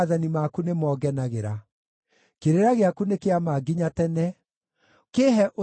Kĩrĩra gĩaku nĩ kĩa ma nginya tene; kĩĩhe ũtaũku nĩguo ndũũre muoyo.